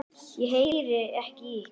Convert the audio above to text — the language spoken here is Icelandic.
Ég heyri ekki í ykkur.